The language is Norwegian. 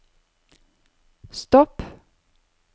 stopp